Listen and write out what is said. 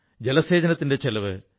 അതിലൊന്നാണ് വികാസ് വർതുൾ ട്രസ്റ്റ്